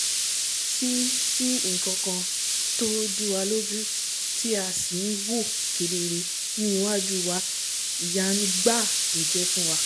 sí sí nkankan tó díwa lójú tí a sì nwòó kedere ní iwájú wa ìyanu gbáà ló jẹ́ fún wa